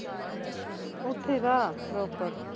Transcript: ਉੱਥੇ ਈ ਤਾ ਰੋਪੜ